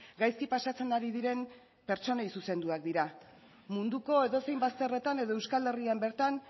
gaizki pasatzen ari diren pertsonei zuzenduak dira munduko edozein bazterretan edo euskal herrian bertan